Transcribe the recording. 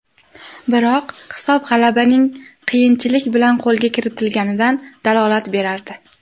Biroq hisob g‘alabaning qiyinchilik bilan qo‘lga kiritilganidan dalolat berardi.